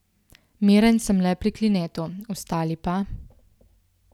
Miren sem le pri Klinetu, ostali pa ...